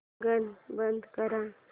गाणं बंद कर